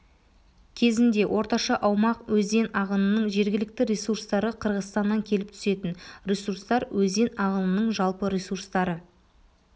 кезінде орташа аумақ өзен ағынының жергілікті ресурстары қырғызстаннан келіп түсетін ресурстар өзен ағынының жалпы ресурстары